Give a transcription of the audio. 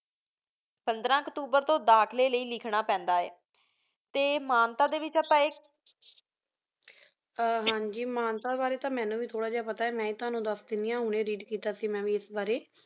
ਪੰਦਰਾਂ ਅਚ੍ਤੋਬੇਰ ਤੂੰ ਦਾਖਲੀ ਲੈ ਲਿਖਣਾ ਪੈਂਦਾ ਆਯ ਟੀ ਮੰਤਾਨ ਡੀ ਵੇਕ੍ਜ ਆਪਾਂ ਹਨ ਜੀ ਮੰਤਾਨ ਬਰੀ ਮੀਨੁ ਵੇ ਥੋਰਾ ਪਤਾ ਮੈਂ ਹੀ ਤੁਵਾਨੁ ਦਸ ਦੇਂਦੀ ਆਂ ਮੈਂ ਹੁਣੀ Read ਕੀਤਾ ਸੀ ਏਸ ਬਰੀ